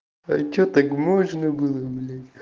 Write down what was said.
а что так можно было или